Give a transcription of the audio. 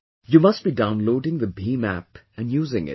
You must be downloading the BHIM App and using it